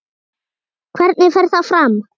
Hvernig fer það fram?